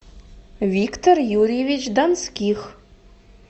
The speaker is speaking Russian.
виктор юрьевич донских